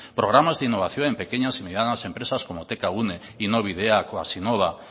programas de innovación en pequeñas y medianas empresas como tkgune innobideak o hazinnova